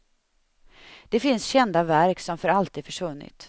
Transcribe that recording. Det finns kända verk som för alltid försvunnit.